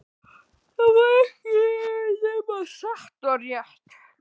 Það var ekki nema satt og rétt.